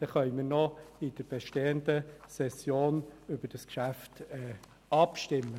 Dann können wir noch während der laufenden Session über das Geschäft abstimmen.